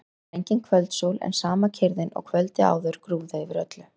Það var engin kvöldsól en sama kyrrðin og kvöldið áður grúfði yfir öllu.